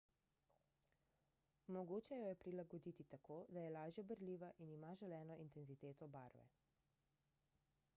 mogoče jo je prilagoditi tako da je lažja berljiva in ima želeno intenziteto barve